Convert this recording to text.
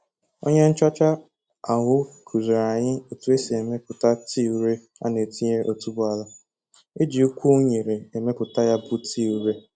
Onye nchọcha ahụ kuziiri anyi otu esi emeputa tii ure a na-etinyere otuboala. Eji ukwu unere emeputa ya bụ tii ure